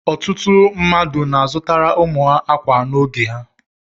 Ọtụtụ mmadụ na-azutara ụmụ ha ákwà n'oge a